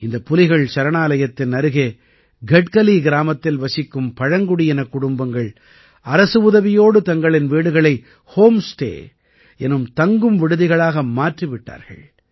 இந்த புலிகள் சரணாலயத்தின் அருகே கட்கலி கிராமத்தில் வசிக்கும் பழங்குடியினக் குடும்பங்கள் அரசு உதவியோடு தங்களின் வீடுகளை ஹோம் ஸ்டே எனும் தங்கும் விடுதிகளாக மாற்றி விட்டார்கள்